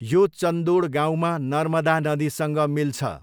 यो चन्दोड गाउँमा नर्मदा नदीसँग मिल्छ।